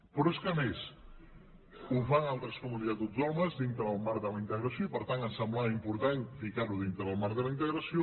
però és que a més ho fan altres comunitats autònomes dintre del marc de la integració i per tant ens semblava important ficar ho dintre del marc de la integració